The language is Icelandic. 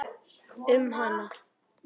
Um hana?